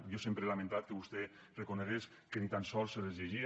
jo sempre he lamentat que vostè reconegués que ni tan sols se les llegia